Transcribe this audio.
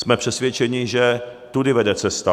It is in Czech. Jsme přesvědčeni, že tudy vede cesta.